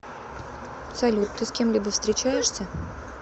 салют ты с кем либо встречаешься